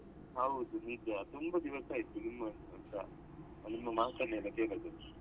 ಹೌದು ನಿಜ ತುಂಬಾ ದಿವಸ ಆಯ್ತು ನಿಮ್ ಹತ್ರಸ ನಿಮ್ಮ ಮಾತನ್ನೆಲ್ಲ ಕೇಳದೆ.